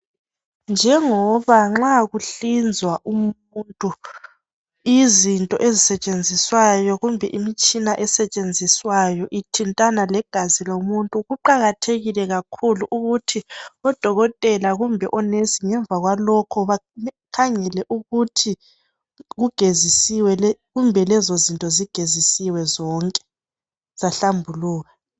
njengoba nxa kuhlinzwa umuntu izinto ezisetshenziswayo kumbe imtshina esetshenziswayo ithintana legazi lomuntu kuqakathekile ukuthi odokotela kumbe o nurse ngemva kwalokho bakhangele ukuthi kugezisiswe kumbe lezozinto zigezisiwe zonke zahlambuluka